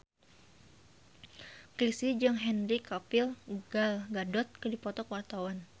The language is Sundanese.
Chrisye jeung Henry Cavill Gal Gadot keur dipoto ku wartawan